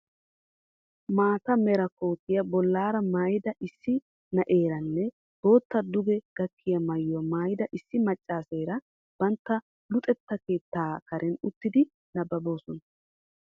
Maata meraa kootiya bollaara maayida issi n'eeranne bootta duge gakkiya maayuwa maayida issi maccaaseera bantta luxetta keettaa karen uttidi nabbaboosona.